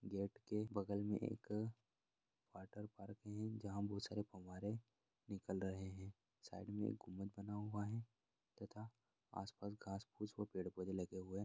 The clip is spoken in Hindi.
गेट के बगल मे एक वाटरपार्क है जहा बहुत सारे फव्वारे निकल रहे है साइड मे एक गुम्बद बना हुआ है तथा आस-पास घास पूस व पेड़-पोधे लगे हुए है।